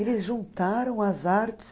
Eles juntaram as artes.